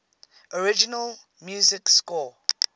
original music score